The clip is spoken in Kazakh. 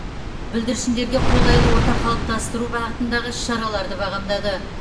бүлдіршіндерге қолайлы орта қалыптастыру бағытындағы іс шараларды бағамдады